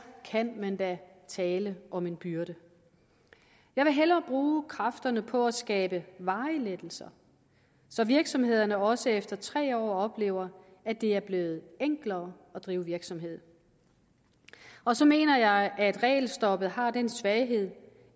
kan man da tale om en byrde jeg vil hellere bruge kræfterne på at skabe varige lettelser så virksomhederne også efter tre år oplever at det er blevet enklere at drive virksomhed og så mener jeg at regelstoppet har den svaghed